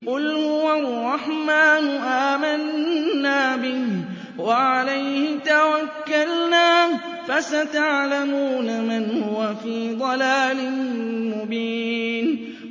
قُلْ هُوَ الرَّحْمَٰنُ آمَنَّا بِهِ وَعَلَيْهِ تَوَكَّلْنَا ۖ فَسَتَعْلَمُونَ مَنْ هُوَ فِي ضَلَالٍ مُّبِينٍ